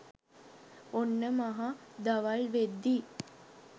ඔන්න මහ දවල් වෙද්දි